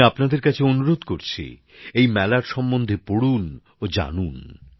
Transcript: আমি আপনাদের কাছে অনুরোধ করছি এই মেলার সম্বন্ধে পড়ুন ও জানুন